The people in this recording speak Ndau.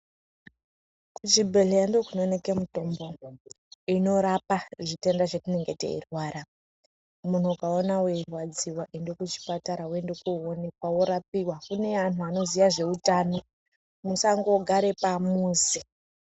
Kuchibhedhlera ndiko kunowoneke mitombo inorapa zvitenda zvatinenga teirwara munhu ukaona weirwadziwa enda kuchipatara worapiwa kune vantu vanoziva zveutano musangogara pamuzi .